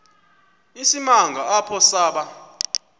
isimanga apho saba